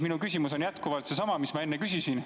Minu küsimus on jätkuvalt seesama, mis ma enne küsisin.